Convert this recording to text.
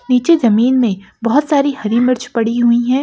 नीचे ज़मीन मे बहुत सारी हरी मिर्च पड़ी हुई है ।